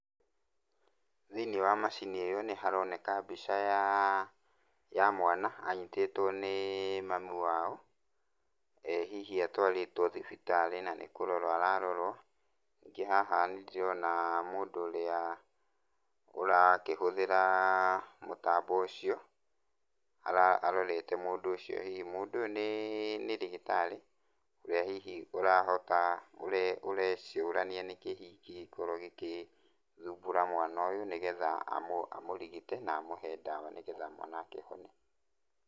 Thĩiniĩ wa macini ĩyo nĩharoneka mbica yaa, ya mwana, anyitĩtũo nĩĩ mamu wao, hihi atwarĩtwo thibitarĩ na nĩkũrorwo ararorwo. Ningĩ haha nĩndĩrona mũndũ ũrĩa ũrakĩhũthĩra mũtambo ũcio, arorete mũndũ ũcio hihi. Mũndũ ũyũ nĩĩ nĩ ndagĩtarĩ ũrĩa hihi ũrahota ũrecũrania nĩkĩ hihi kĩngĩorwo gĩkĩthumbũra mwana ũyũ, nĩgetha amũrigite na amũhe ndawa nĩgetha mwana akĩhone.